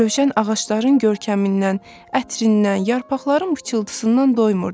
Rövşən ağacların görkəmindən, ətrindən, yarpaqların pıçıltısından doymurdu.